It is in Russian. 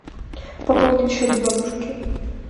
пополнить счет бабушки